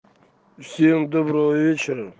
всем доброго вечера